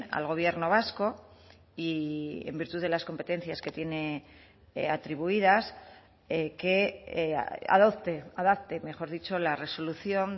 al gobierno vasco y en virtud de las competencias que tiene atribuidas que adopte adapte mejor dicho la resolución